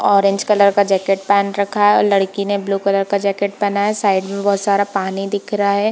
Orange colour का jacket पहन रखा है लड़की ने ब्लू कलर का जैकेट पहना है साइड में बहुत सारा पानी दिख रहा है।